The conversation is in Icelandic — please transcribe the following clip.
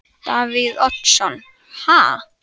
Davíð Oddsson: Ha?